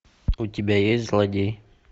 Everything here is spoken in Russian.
у тебя есть злодей